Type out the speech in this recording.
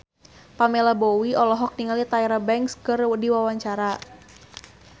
Pamela Bowie olohok ningali Tyra Banks keur diwawancara